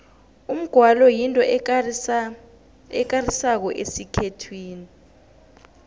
umgwalo yinto ekarisako esikhethwini